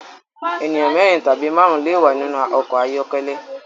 Ènìyàn mérin tàbí márùn le wà nínú ọkọ̀ ayọ́kẹ́lẹ́